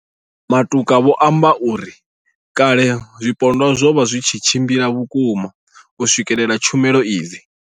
Matuka vho amba uri kale zwipondwa zwo vha zwi tshi tshimbila vhukuma u swikelela tshumelo hedzi.